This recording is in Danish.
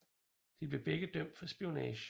De blev begge dømt for spionage